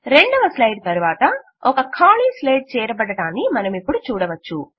రెండవ స్లైడ్ తరువాత ఒక ఖాళీ స్లైడ్ చేరబడడాన్ని మనమిపుడు చూడవచ్చు